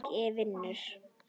Allt í lagi, vinur.